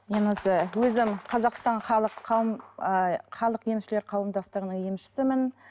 мен осы өзім қазақстан халық қауым ыыы халық емшілер қауымдастығының емшісімін